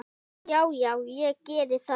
Já já, ég gerði það.